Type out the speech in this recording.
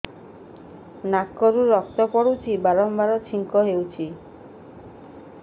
ନାକରୁ ରକ୍ତ ପଡୁଛି ବାରମ୍ବାର ଛିଙ୍କ ହଉଚି